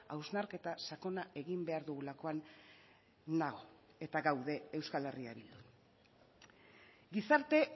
hausnarketa sakona egin behar dugulakoan nago eta gaude euskal herria bildu gizarte